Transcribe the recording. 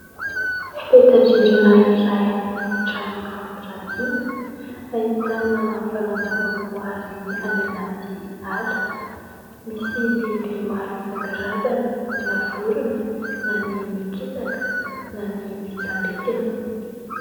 Peta-drindrina iray any amin'ny trano fampirantiana, ahitana valan-javaboary any anaty ala. Misy biby maro isankarazany : na vorona, na ny mikisaka, na ny mitsambikina...